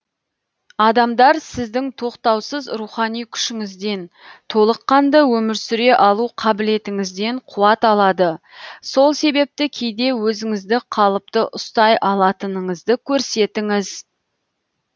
адамдар сіздің тоқтаусыз рухани күшіңізден толыққанды өмір сүре алу қабілетіңізден қуат алады сол себепті кейде өзіңізді қалыпты ұстай алатыныңызды көрсетіңіз